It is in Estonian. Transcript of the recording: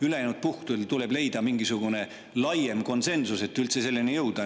Ülejäänud puhkudel tuleb leida mingisugune laiem konsensus, et üldse selleni jõuda.